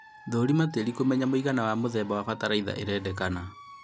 Thũrima tĩri kũmenya mũigana na mũthemba wa batalaitha ĩrendekana